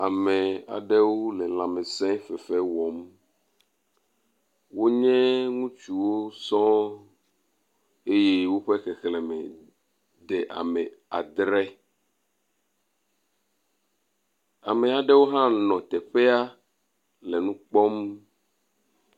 ame aɖewo le lãmesē fefe wɔm wó nye ŋutsuwo sɔŋ eye wó ƒe xexlēme de ame adre ame aɖewo hã nɔ teƒea le nu kpɔm